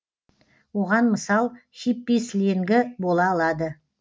оған мысал хиппи сленгі бола алады